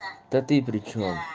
та ты при чём